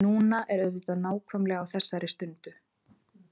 Núna er auðvitað nákvæmlega á þessari stundu.